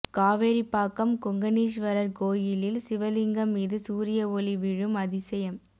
காவேரிப்பாக்கம் கொங்கணீஸ்வரர் கோயிலில் சிவலிங்கம் மீது சூரிய ஒளி விழும் அதிசயம்